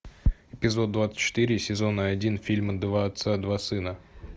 эпизод двадцать четыре сезона один фильма два отца два сына